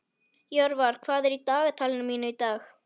Jörvar, hvað er í dagatalinu mínu í dag?